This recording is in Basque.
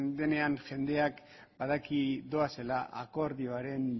denean jendeak badaki doazela akordioaren